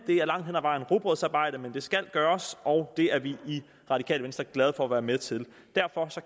det er langt hen ad vejen rugbrødsarbejde men det skal gøres og det er vi i radikale venstre glade for at være med til derfor